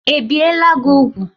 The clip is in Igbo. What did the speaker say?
Ebiela gị úgwù?